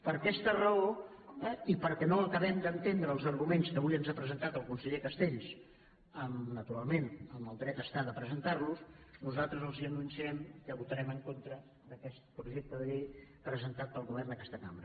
per aquesta raó i perquè no acaben d’entendre els arguments que avui ens ha presentat el conseller castells naturalment amb el dret està de presentar los nosaltres els anunciem que votarem en contra d’aquest projecte de llei presentat pel govern a aquesta cambra